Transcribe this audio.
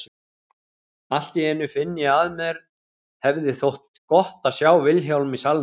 Allt í einu finn ég að mér hefði þótt gott að sjá Vilhjálm í salnum.